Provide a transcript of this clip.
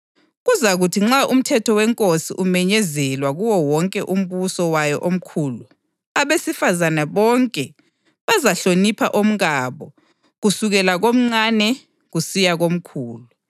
Kuzakuthi nxa umthetho wenkosi umenyezelwa kuwo wonke umbuso wayo omkhulu, abesifazane bonke bazahlonipha omkabo kusukela komncane kusiya komkhulu.”